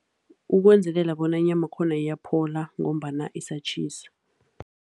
Ukwenzelela bona inyama yakhona iyaphola ngombana isatjhisa.